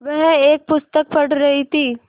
वह एक पुस्तक पढ़ रहीं थी